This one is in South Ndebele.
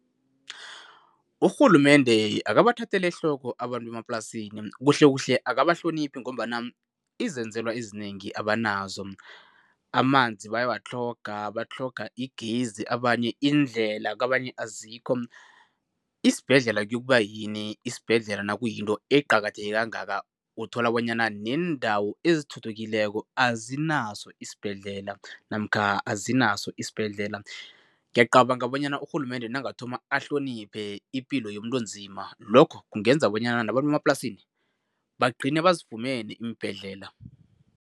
Urhulumende akabathatheli ehloko abantu bemaplasini, kuhlekuhle akabahloniphi ngombana izenzelwa ezinengi abanazo. Amanzi bayawatlhoga, batlhoga igezi, abanye indlela kabanye azikho, isibhedlela kiyokuba yini? Isibhedlela nakuyinto eqakatheke kangaka. Uthola bonyana neendawo ezithuthukileko azinaso isibhedlela namkha azinaso isibhedlela. Ngiyacabanga bonyana urhulumende nangathoma ahloniphe ipilo yomuntu onzima, lokho kungenza bonyana nabantu emaplasini bagcine bazifumene iimbhedlela.